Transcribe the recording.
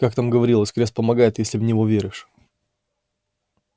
как там говорилось крест помогает если в него веришь